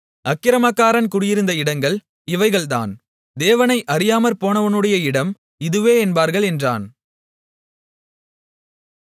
அக்கிரமக்காரன் குடியிருந்த இடங்கள் இவைகள்தான் தேவனை அறியாமற்போனவனுடைய இடம் இதுவே என்பார்கள் என்றான்